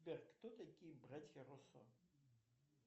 сбер кто такие братья руссо